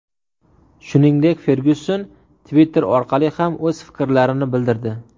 Shuningdek, Fergyuson Twitter orqali ham o‘z fikrlarini bildirdi .